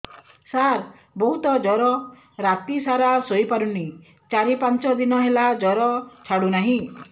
ସାର ବହୁତ ଜର ରାତି ସାରା ଶୋଇପାରୁନି ଚାରି ପାଞ୍ଚ ଦିନ ହେଲା ଜର ଛାଡ଼ୁ ନାହିଁ